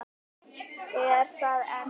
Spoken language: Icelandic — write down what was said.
Er það enn svo?